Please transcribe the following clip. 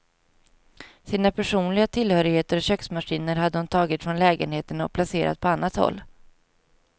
Sina personliga tillhörigheter och köksmaskiner hade hon tagit från lägenheten och placerat på annat håll.